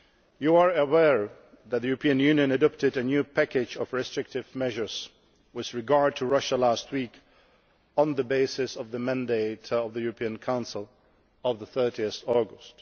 You are aware that the European Union adopted a new package of restrictive measures with regard to Russia last week on the basis of the mandate of the European Council of 30 August.